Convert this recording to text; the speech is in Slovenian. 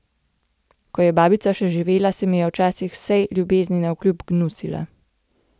Ko je babica še živela, se mi je včasih vsej ljubezni navkljub gnusila.